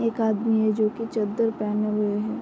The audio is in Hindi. एक आदमी है जो कि चद्दर पहने हुए है।